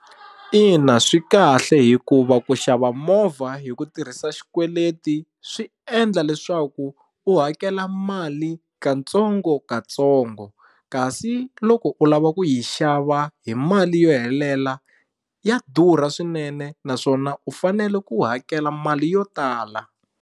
Ina swi kahle hikuva ku xava movha hi ku tirhisa xikweleti swi endla leswaku u hakela mali katsongokatsongo kasi loko u lava ku yi xava hi mali yo helela ya durha swinene naswona u fanele ku hakela mali yo tala.